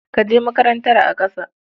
Ka je makarantar a ƙasa.